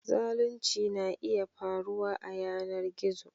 Zalunci na iya faruwa a yanar gizo